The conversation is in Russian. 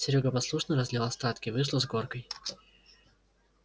серёга послушно разлил остатки вышло с горкой